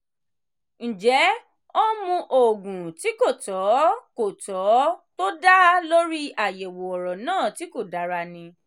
ǹjẹ́ ó ń mu òògùn tí kò tọ́ kò tọ́ tó dá lórí àyẹ̀wò ọ̀rọ̀ náà tí kò dára ni?